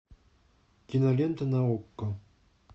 кинолента на окко